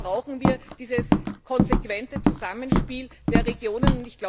Das heißt, hier brauchen wir dieses konsequente Zusammenspiel der Regionen.